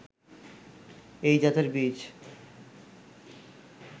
এই জাতের বীজ